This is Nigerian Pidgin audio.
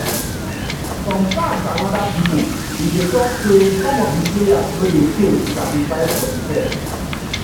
some fans and oda pipo bin dey tok say some of di players no dey care to sacrifice for di shirt.